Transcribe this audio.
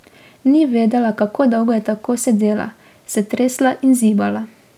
Ni vedela, kako dolgo je tako sedela, se tresla in zibala.